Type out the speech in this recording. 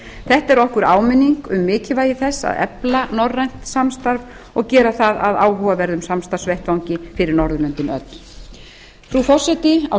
þetta er okkur áminning um mikilvægi þess að efla norrænt samstarf og gera það að áhugaverðum samstarfsvettvangi fyrir norðurlöndin öll frú forseti á